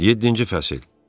Yeddinci fəsil.